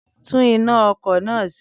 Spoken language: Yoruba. Tún iná ọkọ̀ náà ṣe!